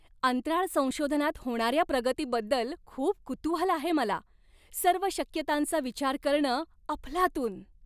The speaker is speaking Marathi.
अंतराळ संशोधनात होणाऱ्या प्रगतीबद्दल खूप कुतूहल आहे मला! सर्व शक्यतांचा विचार करणं अफलातून.